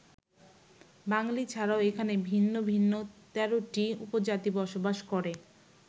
বাঙালি ছাড়াও এখানে ভিন্ন ভিন্ন ১৩টি উপজাতি বসবাস করে।